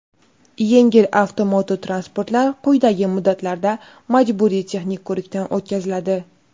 yengil avtomototransportlar quyidagi muddatlarda majburiy texnik ko‘rikdan o‘tkaziladi:.